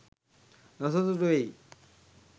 නොසතුටු වෙයි.